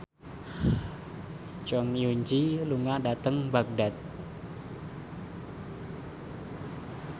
Jong Eun Ji lunga dhateng Baghdad